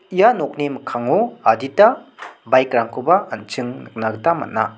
ia nokni mikkango adita baik rangkoba an·ching nikna gita man·a.